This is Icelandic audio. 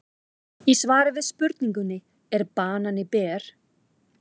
Í svari við spurningunni Er banani ber?